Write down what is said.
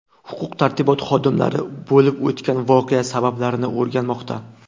Huquq-tartibot xodimlari bo‘lib o‘tgan voqea sabablarini o‘rganmoqda.